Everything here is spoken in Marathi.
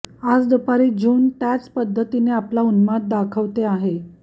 आज दुसरी झुंड त्याच पद्धतीने आपला उन्माद दाखवते आहे